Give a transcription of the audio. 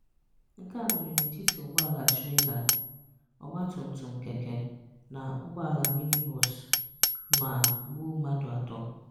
Nke a mere n'etiti ụgbọala Treila, ọgbaatumtum keke na ụgbọala mini bọọsụ ma gbuo mmadụ atọ.